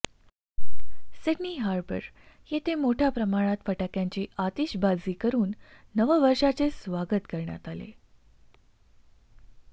Sydney Harbour येथे मोठ्या प्रमाणात फटाक्यांची आतिषबाजी करून नववर्षाचे स्वागत करण्यात आले